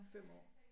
5 år